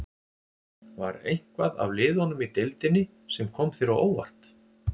Var eitthvað af liðunum í deildinni sem kom þér á óvart?